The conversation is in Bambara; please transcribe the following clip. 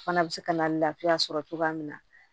Fana bɛ se ka na laafiya sɔrɔ cogoya min na